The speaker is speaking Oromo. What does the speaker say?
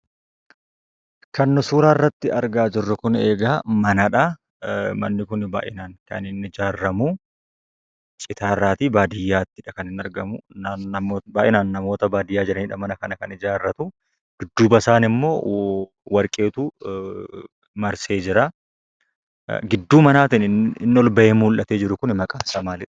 Kan suuraa irratti argaa jirru kun eegaa Manadhaa. Manni kun baay'inaan kaniinni ijaaramu citarratii baadiyyaattidha kaniinni argamu. Baay'inaan namoota baadiyyaa jiranidha Mana kana kan ijaarratu. Dudduba isaanimmo warqeetu marsee jira. Gidduu Manatin inni ol ba'ee mul'ate jiru kun maqaan isaa maaliidha?